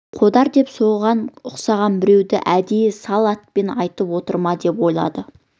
қодар деп соған ұқсаған біреуді әдейі сол атпен айтып отыр ма деп ойлады